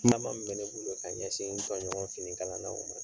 ne bolo ka ɲɛsin n tɔɲɔgɔn fini kalan naw ma.